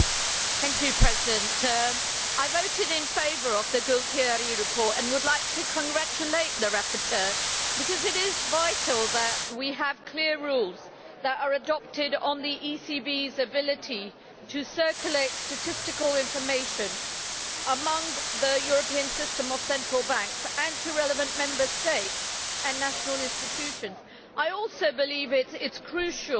Madam President, I voted in favour of the Gualtieri Report and would like to congratulate the rapporteur, because it is vital that we have clear rules that are adopted on the ECB's ability to circulate statistical information among the European system of central banks and to relevant Member States and national institutions. I also believe it is crucial